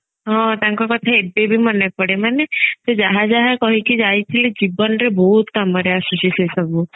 ହଁ ତାଙ୍କ କଥା ଏବେ ବି ମନେ ପଡେ ମାନେ ସେ ଯାହା ଯାହା କହିକି ଯାଇଥିଲେ ଜୀବନରେ ବହୁତ କାମରେ ଆସୁଛି ସେ ସବୁ